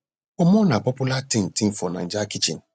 pomo na popular ting ting for naija kitchen